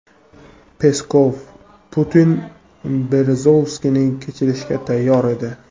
Peskov: Putin Berezovskiyni kechirishga tayyor edi.